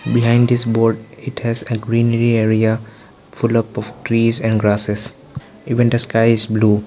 behind this board it has a greenery area full up of trees and grasses even the sky is blue.